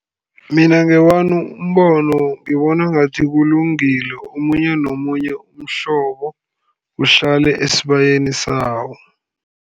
Mina ngewami umbono ngibona ngathi kulungile, omunye nomunye umhlobo uhlale esibayeni sawo.